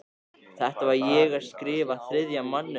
Þegar ég var að skrifa Þriðja manninn árið